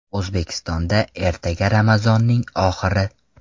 O‘zbekistonda ertaga Ramazonning oxiri.